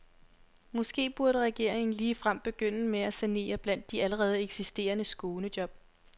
Måske burde regeringen ligefrem begynde med at sanere blandt de allerede eksisterende skånejob.